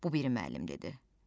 Bu bir müəllim dedi.